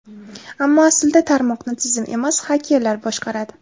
Ammo aslida tarmoqni tizim emas, xakerlar boshqaradi.